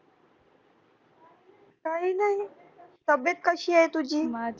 काही नाही तब्येत कशी आहे तुझी